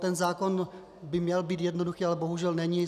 Ten zákon by měl být jednoduchý, ale bohužel není.